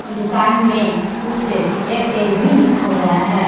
दुकान में कुछ एयरटेल भी लिखा हुआ है।